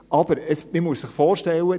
Aber man muss sich vorstellen: